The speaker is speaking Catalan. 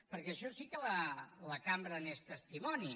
perquè això sí que la cambra n’és testimoni